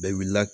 Bɛɛ wilila